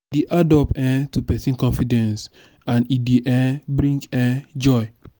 add up um to persin confidence and e de um bring um joy